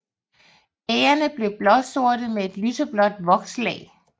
Bærrene bliver blåsorte med et lyseblåt vokslag